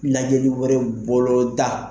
Lajɛli wɛrɛw boloda.